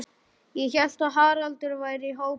Ég hélt að Haraldur væri í hópi